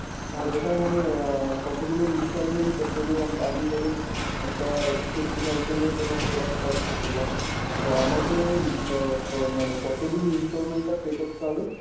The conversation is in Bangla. আর এটা মানে আহ কতগুলো installment তো আমি ধরুন একটা fifty thousand এর কোন product purchase করলাম। তো আমাকে আহ মানে কতদিন installment টা pay করতে হবে?